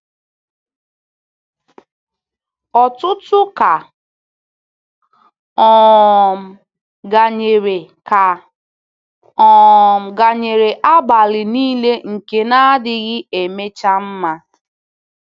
Ọkụ́tụ̀ ka um gānyere ka um gānyere abalị niile nke na-adịghị emecha mma.